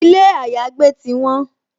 Ilé àyágbé ti won